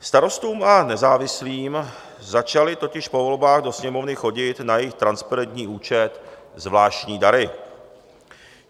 Starostům a nezávislým začaly totiž po volbách do Sněmovny chodit na jejich transparentní účet zvláštní dary.